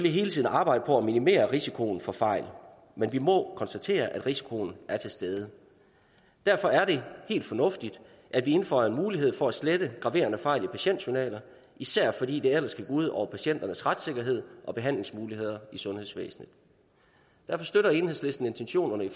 hele tiden arbejde på at minimere risikoen for fejl men vi må konstatere at risikoen er til stede derfor er det helt fornuftigt at vi indføjer en mulighed for at slette graverende fejl i patientjournaler især fordi det ellers kan gå ud over patienters retssikkerhed og behandlingsmuligheder i sundhedsvæsenet derfor støtter enhedslisten intentionerne i